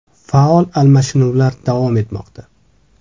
Faol almashinuvlar davom etmoqda.